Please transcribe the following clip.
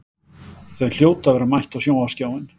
Þau hljóta að vera mætt á sjónvarpsskjáinn.